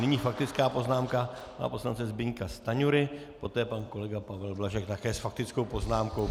Nyní faktická poznámka pana poslance Zbyňka Stanjury, poté pan kolega Pavel Blažek také s faktickou poznámkou.